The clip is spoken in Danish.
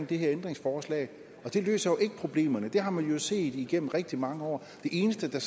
i her ændringsforslag det løser jo ikke problemerne det har man set igennem rigtig mange år det eneste der